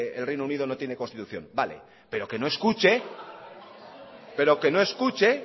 el reino unido no tiene constitución vale pero que no escuche pero que no escuche